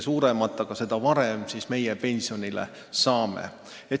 Seda varem meie pensionile saame.